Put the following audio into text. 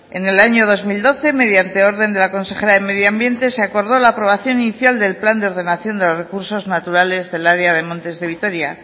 en el año dos mil doce mediante orden de la consejera de medio ambiente se acordó la aprobación inicial del plan de ordenación de los recursos naturales del área de montes de vitoria